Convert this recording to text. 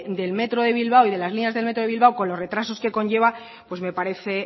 del metro de bilbao y de las líneas del metro de bilbao con los retrasos que conlleva pues me parece